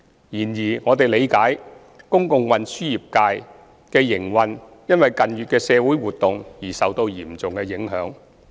然而，我們理解公共運輸業界的營運因近月社會活動而受到嚴重影響。